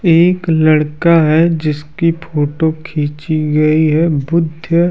एक लड़का है जिसकी फोटो खींची गई है। बुद्ध--